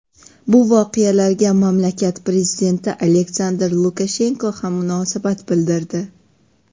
Bu voqealarga mamlakat prezidenti Aleksandr Lukashenko ham munosabat bildirdi .